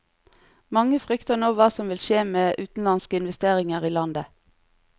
Mange frykter nå hva som vil skje med utenlandske investeringer i landet.